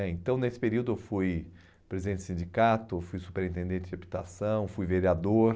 né então, nesse período, eu fui presidente de sindicato, fui superintendente de habitação, fui vereador.